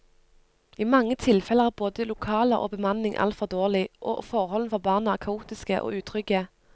I mange tilfeller er både lokaler og bemanning altfor dårlig, og forholdene for barna er kaotiske og utrygge.